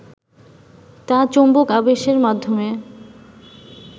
তা চৌম্বক আবেশের মাধ্যমে